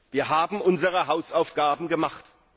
Wir haben unsere Hausaufgaben gemacht!